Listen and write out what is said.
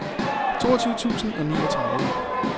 toogtyve tusind og niogtredive